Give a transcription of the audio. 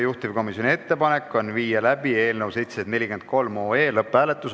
Juhtivkomisjoni ettepanek on viia läbi eelnõu 746 lõpphääletus.